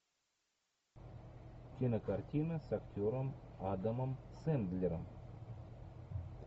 кинокартина с актером адамом сэндлером